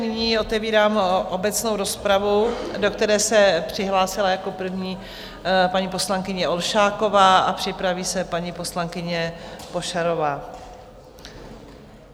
Nyní otevírám obecnou rozpravu, do které se přihlásila jako první paní poslankyně Olšáková, a připraví se paní poslankyně Pošarová.